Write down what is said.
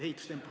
Ehitustempo.